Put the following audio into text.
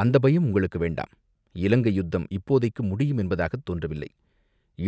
"அந்தப் பயம் உங்களுக்கு வேண்டாம், இலங்கை யுத்தம் இப்போதைக்கு முடியும் என்பதாகத் தோன்றவில்லை."